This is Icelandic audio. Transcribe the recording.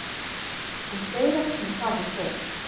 En fleira kemur þar við sögu.